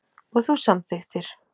Og þú samþykktir.